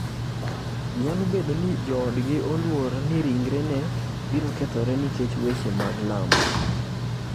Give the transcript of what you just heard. Nyalo bedo ni joodgi oluor ni ringre ne birokethore nikech wechee mag lamo.